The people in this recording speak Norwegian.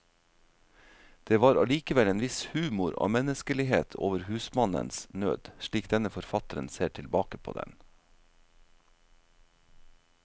Det var allikevel en viss humor og menneskelighet over husmannens nød, slik denne forfatteren ser tilbake på den.